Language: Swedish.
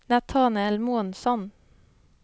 Natanael Månsson